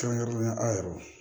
Kɛrɛnkɛrɛnnenya aw yɛrɛw